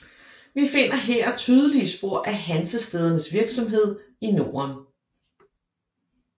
Vi finder her tydelige spor af hansestædernes virksomhed i Norden